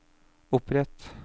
opprett